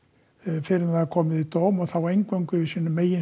fyrr en það var komið í dóm og þá eingöngu í sínum eigin